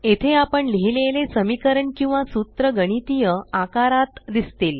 येथे आपण लिहिलेले समीकरण किंवा सूत्र गणितीय आकारात दिसतील